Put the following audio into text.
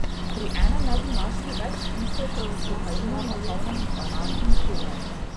Pri enem naj bi našli več tisoč s kokainom napolnjenih banan in kumar.